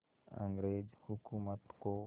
अंग्रेज़ हुकूमत को